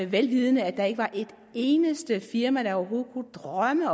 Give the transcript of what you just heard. vel vidende at der ikke var et eneste firma der overhovedet kunne drømme